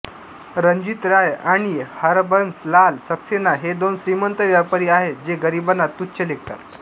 रणजीत राय आणि हरबंस लाल सक्सेना हे दोन श्रीमंत व्यापारी आहेत जे गरिबांना तुच्छ लेखतात